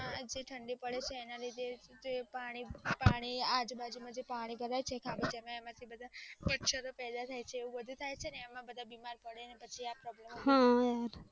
આજે ઠંડી પડે તેના લીધે થી પાણી પાણી આજુબાજુ માંથી પાણી પડે છે. ખાલી જગ્યા એમાં બધું માચરો પૈદા થાય છે, બધું થાય છે એમાં બીમાર પડે પછી.